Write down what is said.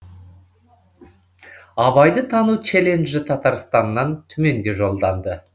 абайды тану челенджі татарстаннан түменге жолданды